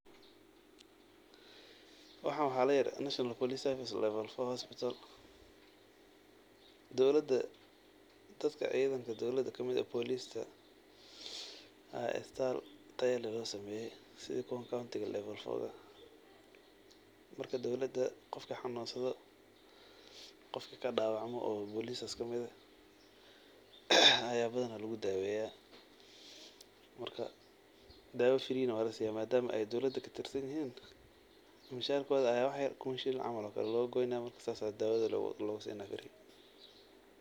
Waxan waxa laa yiradha National Police service level four hospital dowlada dadka cidhankadowlada kamid ah police taa aa isbital tayaleh losameye sidhii kuwii county level four. Marka dowlada qofkii xanunsadha qofki kadawacma oo police kamid eeh ayaa badhana lagudaweya marka dawa free na walasiya madama ay dowlada katirasnihin masharkodha aya wax yar camal kuun shilling lagagoyneya saasa dawdha lagusinaya .